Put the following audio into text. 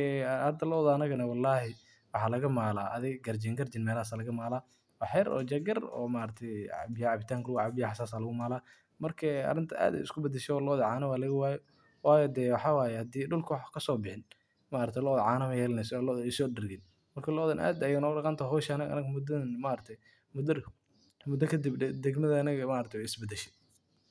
e hada luda anadana Wallahi waxa lagamaala garjin, garjin melahas aya lagamaala. Waxyar iyo jeeg yar e cabitanka lagucaaba iyo waxas aya lagu mala. Marka arinta ad iskubadasha e Loda cana walagawaay wayo dee waxa wayo hadi ay dulka wax kasobixin maragtay Loda caana mayeelaneyso si looda so dargin. Marka looda ad aya u daqantahay e anaga muda kadib dagmada anada wey isbadashay.